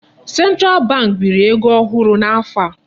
Central bank biri ego ohụrụ n'afọ a.